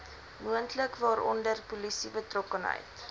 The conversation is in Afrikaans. moontlik waaronder polisiebetrokkenheid